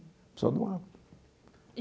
A pessoa doava.